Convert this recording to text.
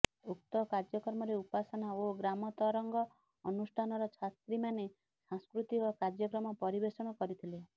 ଉକ୍ତ କାର୍ଯ୍ୟକ୍ରମରେ ଉପାସନା ଓ ଗ୍ରାମ ତରଙ୍ଗ ଅନୁଷ୍ଠାନର ଛାତ୍ରୀମାନେ ସାଂସ୍କୃତିକ କାର୍ଯ୍ୟକ୍ରମ ପରିବେଷଣ କରିଥିଲେ